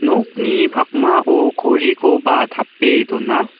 nokni pakmao gorikoba tape dona.